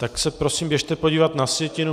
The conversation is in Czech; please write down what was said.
Tak se prosím běžte podívat na sjetinu.